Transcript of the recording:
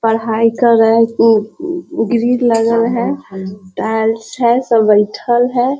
पढ़ाई कर रहल उ उउ ग्रिल लगल है टाइल्स है सब बइठल है।